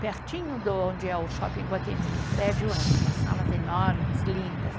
pertinho de onde é o Shopping Iguatemi, um prédio antes, umas salas enormes, lindas.